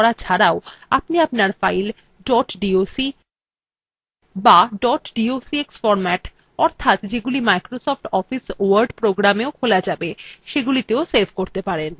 আপনি আপনার file dot doc be dot docx format অর্থাৎ যেগুলি মাইক্রোসফট office word programএও খোলা save সেগুলিতেও save করতে পারেন